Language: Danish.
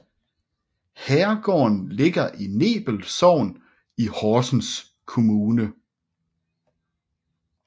Herregården ligger i Nebel Sogn i Horsens Kommune